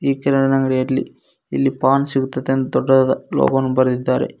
ಈ ಕಿರಣ್ ಅಂಗಡಿಯಲ್ಲಿ ಪಾನ್ ಸಿಗುತೈತಂತ್ ದೊಡ್ಡದಾದ ಲೋಗವನ್ನು ಬರೆದಿದ್ದಾರೆ.